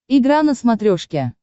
игра на смотрешке